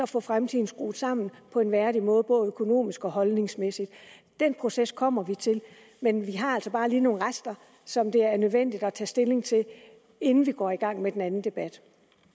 få fremtiden skruet sammen på en værdig måde både økonomisk og holdningsmæssigt den proces kommer vi til men vi har altså bare lige nogle rester som det er nødvendigt at tage stilling til inden vi går i gang med den anden debat